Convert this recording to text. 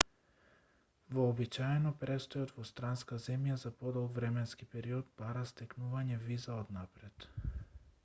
вообичаено престојот во странска земја за подолг временски период бара стекнување виза однапред